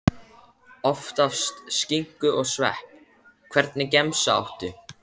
Oftast skinku og svepp Hvernig gemsa áttu?